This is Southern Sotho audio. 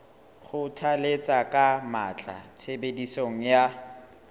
kgothalletsa ka matla tshebediso ya